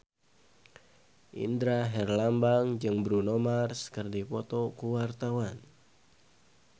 Indra Herlambang jeung Bruno Mars keur dipoto ku wartawan